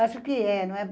Acho que é, não é?